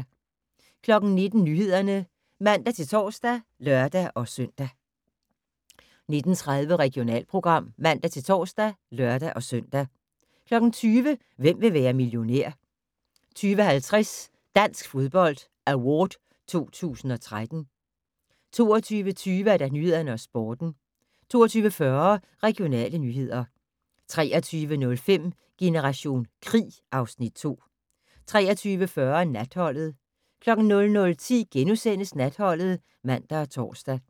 19:00: Nyhederne (man-tor og lør-søn) 19:30: Regionalprogram (man-tor og lør-søn) 20:00: Hvem vil være millionær? 20:50: Dansk Fodbold Award 2013 22:20: Nyhederne og Sporten 22:40: Regionale nyheder 23:05: Generation krig (Afs. 2) 23:40: Natholdet 00:10: Natholdet *(man og tor)